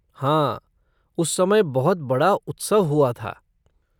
हाँ, उस समय बहुत बड़ा उत्सव हुआ था।